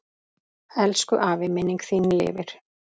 Elsku afi, minning þín lifir.